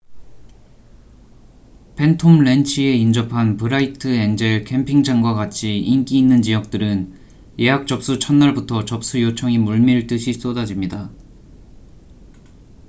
팬톰랜치에 인접한 브라이트 엔젤 캠핑장과 같이 인기 있는 지역들은 예약 접수 첫 날부터 접수 요청이 물밀듯이 쏟아집니다